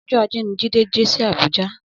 Ọjọ àjé ni Jide dé si Abuja